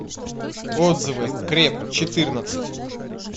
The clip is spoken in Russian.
отзывы креп четырнадцать